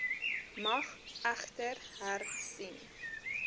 mag egter hersien